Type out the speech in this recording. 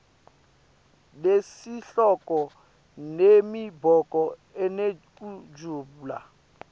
nesihloko nemibono inekujula